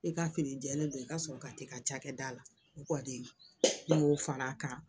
I ka fini jɛlen don i ka sɔrɔ ka tɛ ka ca kɛ da la ne y'o fara a kan